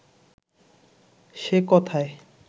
সে কথায়